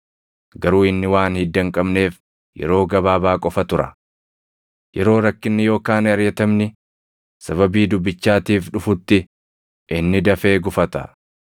Garuu inni waan hidda hin qabneef yeroo gabaabaa qofa tura. Yeroo rakkinni yookaan ariʼatamni sababii dubbichaatiif dhufutti inni dafee gufata.